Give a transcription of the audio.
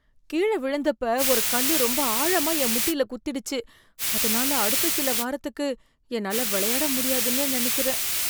கீழ விழுந்தப்ப ஒரு கல்லு ரொம்ப ஆழமா என் முட்டில குத்திடுச்சு. அதுனால அடுத்த சில வாரத்துக்கு என்னால வெளையாட முடியாதுன்னு நெனக்கிறேன்.